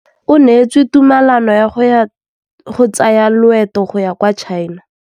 O neetswe tumalanô ya go tsaya loetô la go ya kwa China.